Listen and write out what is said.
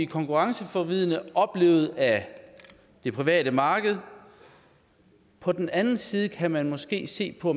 konkurrenceforvridende af det private marked på den anden side kan man måske se på